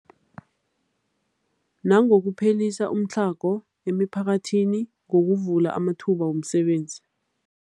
Nangokuphelisa umtlhago emiphakathini ngokuvula amathuba wemisebenzi.